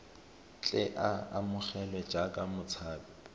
tle a amogelwe jaaka motshabi